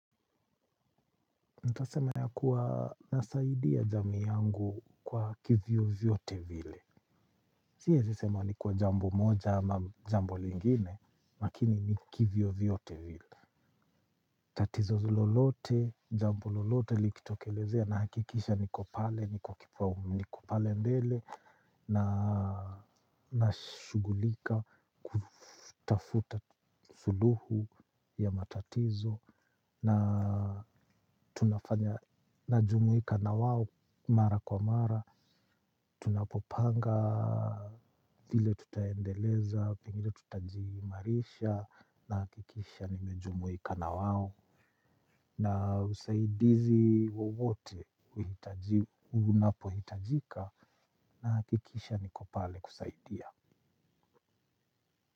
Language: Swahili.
Nitasema ya kuwa nasaidia jamii yangu kwa kivyovyote vile siezi sema ni kwa jambo moja ama jambo lingine. Makini ni kivyovyote vile. Tatizo lololote, jambo lolote likitokelezea nahakikisha niko pale, niko kipaumbele. Na nashughulika kutafuta suluhu ya matatizo na tunafanya najumuika na wao mara kwa mara tunapopanga vile tutaendeleza pengine tutajiimarisha nahakikisha nimejumuika na wao na usaidizi wowote unapohitajika nahakikisha niko pale kusaidia.